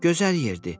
Gözəl yerdir.